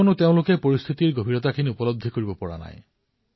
কাৰণ তেওঁলোকে পৰিস্থিতিৰ গম্ভীৰতা অনুধাৱন কৰিব পৰা নাই